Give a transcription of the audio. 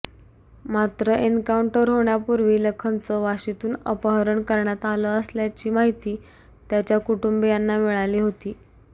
मात्र एन्काउंटर होण्यापुर्वी लखनचं वाशीतून अपहरण करण्यात आलं असल्याची माहिती त्याच्या कुटुंबीयांना मिळाली होती